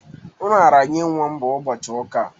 Nraranye nwa m bụ ụbọchị ụka a.